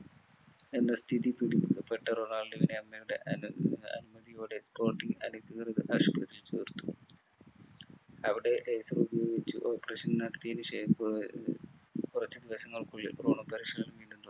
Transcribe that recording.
എന്ന സ്ഥിതി പിടി പെട്ട റൊണാൾഡോവിനെ അമ്മയുടെ അനു ആഹ് അനുമതിയോടെ sporting അധികൃതർ അവിടെ operation നടത്തിയതിന് ശേഷം ഏർ കുറച്ചുദിവസങ്ങൾക്കുള്ളിൽ റൊണോ പരിശീലനം വീണ്ടും തുടങ്ങി